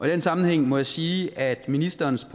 den sammenhæng må jeg sige at ministerens